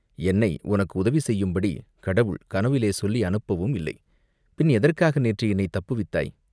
என்னை உனக்கு உதவி செய்யும்படி கடவுள் கனவிலே சொல்லி அனுப்பவும் இல்லை, பின் எதற்காக நேற்று என்னைத் தப்புவித்தாய்